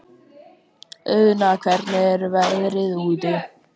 Auðna, hvernig er veðrið úti?